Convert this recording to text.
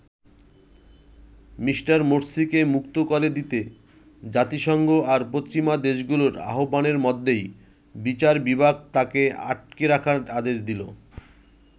Me. মোরসিকে মুক্ত করে দিতে জাতিসংঘ আর পশ্চিমা দেশগুলোর আহবানের মধ্যেই বিচার বিভাগ তাকে আটকে রাখার আদেশ দিল।